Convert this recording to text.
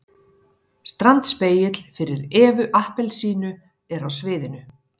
Standspegill fyrir EVU APPELSÍNU er á sviðinu.